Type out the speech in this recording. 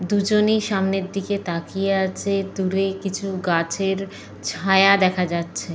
দুজনেই সামনের দিকে দিকে তাকিয়ে আছে। দূরে কিছু গাছের ছায়া দেখা যাচ্ছে।